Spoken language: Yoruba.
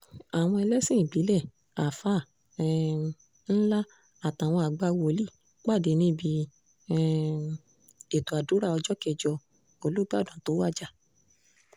àwọn ẹlẹ́sìn ìbílẹ̀ àáfáà um ńlá àtàwọn àgbà wòlíì pàdé níbi um ètò àdúrà ọjọ́ kẹjọ olùbàdàn tó wájà